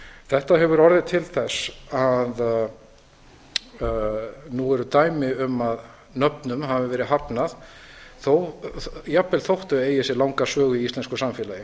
þetta hefur orðið til þess að nú eru dæmi um að nöfnum hafi verið hafnað jafnvel þó þau eigi sér langa sögu í íslensku samfélagi